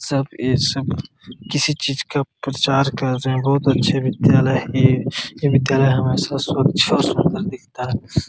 सब ई सब किसी चीज का प्रचार कर रहे हैं बहुत अच्छा विद्यालय है ये यह विद्यालय हमारे दिखता है।